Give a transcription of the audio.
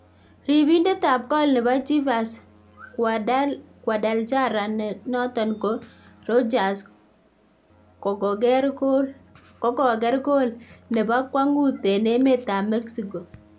Ribindetab gool nebo Chivas Guadalajara ne noton ko Rodriguez kogoger gool nebo kwong'ut en emetab Mexico